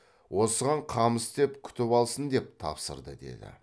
осыған қам істеп күтіп алсын деп тапсырды деді